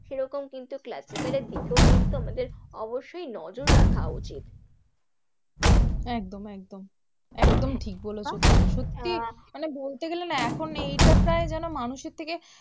সেরকম কিন্তু classical এর দিকেও কিন্তু আমাদের অবশ্যই নজর রাখা উচিত একদম একদম, একদম ঠিক বলেছো তুমি, সত্যিই মানে বলতে গেলে না এখন এইটা প্রায় যেন মানুষের থেকে